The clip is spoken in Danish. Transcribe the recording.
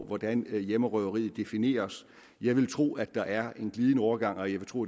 hvordan hjemmerøveri defineres jeg vil tro at der er en glidende overgang og jeg vil tro